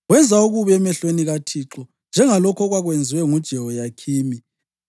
Wenza okubi emehlweni kaThixo, njengalokho okwakwenziwe nguJehoyakhimi.